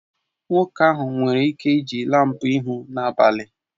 Nwoke ahụ nwere ike iji laampụ ịhụ n'abalị